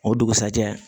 O dugusajɛ